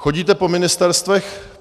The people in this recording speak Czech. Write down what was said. Chodíte po ministerstvech?